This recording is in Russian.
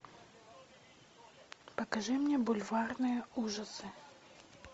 покажи мне бульварные ужасы